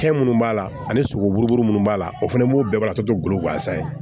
Fɛn minnu b'a la ani sogo bugun munnu b'a la o fana b'o bɛɛ laturu to golo gansan ye